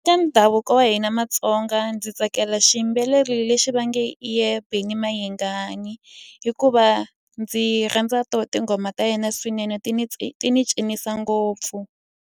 Eka ndhavuko wa hina maTsonga ndzi tsakela xiyimbeleri lexi va nge hi yena Benny Mayengani. Hikuva ndzi rhandza tona tinghoma ta yena swinene ti ni ti ni cinisa ngopfu.